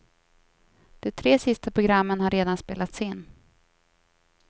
De tre sista programmen har redan spelats in.